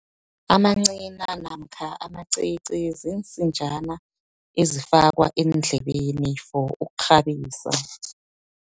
Amancina namkha amacici, ziinsinjana ezifakwa eendlebeni for ukghabisa.